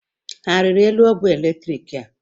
Ha a rịrị elu ogwé eletriki a?